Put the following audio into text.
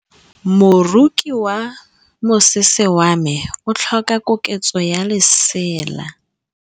Moroki wa mosese wa me o tlhoka koketsô ya lesela.